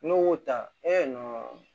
N'u y'o ta